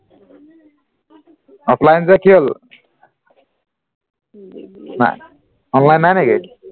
offline যে কি হল হা online নাহে নেকি